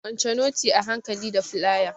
Kwance notin a hankali da flaya!